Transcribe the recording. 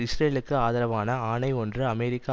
இஸ்ரேலுக்கு ஆதரவான ஆணை ஒன்று அமெரிக்க